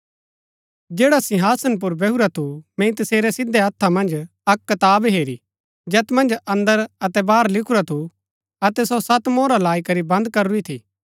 जैडा सिंहासन पुर बैहुरा थू मैंई तसेरै सिधै हत्था मन्ज अक्क कताब हेरी जैत मन्ज अंदर अतै बाहर लिखुरा थू अतै सो सत मोहरा लाई करी बंद करूरी थी